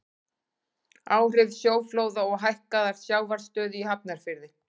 áhrif sjóflóða og hækkaðrar sjávarstöðu í hafnarfirði